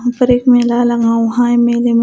ऊपर एक मेला लगा हुआ है मेले में--